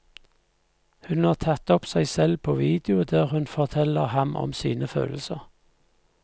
Hun har tatt opp seg selv på video der hun forteller ham om sine følelser.